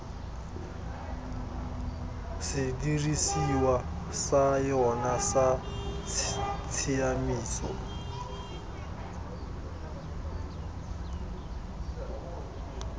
sedirisiwa sa yona sa tshiamiso